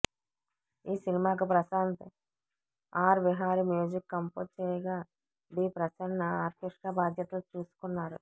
ఈ సినిమాకు Prashanth R Vihari music compose చేయగా బి ప్రసన్న ఆర్కెస్ట్రా బాధ్యతలు చూసుకున్నారు